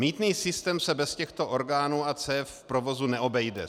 Mýtný systém se bez těchto orgánů a cév v provozu neobejde.